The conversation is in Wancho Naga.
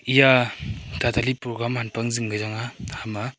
eya a ta ta li program hanpak ma zing kya chang a ham a.